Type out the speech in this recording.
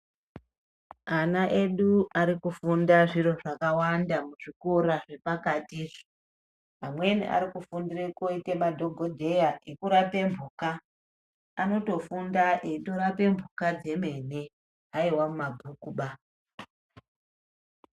Ana edu arikufunda zviro zvakawanda muzvikora zvepakati. Amweni arikufundira koita madhogodheya ekurape mhuka. Anotofunda eitorape mhuka dzemene aiva mumabhukuba.